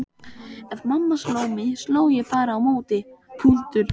Ef mamma sló mig sló ég bara á móti.